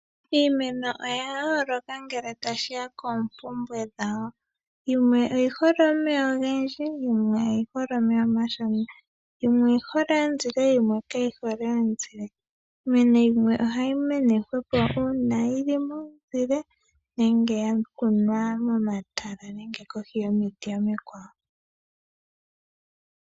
Iimeno oya yooloka ngele tashiya koompumbwe dhawo, yimwe oyihole omeya ogendji yo yimwe oyi hole omeya omashona. Yimwe oyihole omuzile yimwe kayihole omuzile. Iimeno yimwe ohayi mene nawa ngele yili momizile nenge yakunwa momatala nenge kohi yomiti omikwawo.